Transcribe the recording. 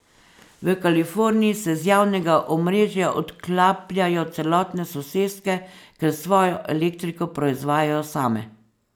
V Kaliforniji se z javnega omrežja odklapljajo celotne soseske, ker svojo elektriko proizvajajo same.